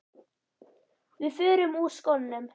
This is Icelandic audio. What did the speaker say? Við förum úr skónum.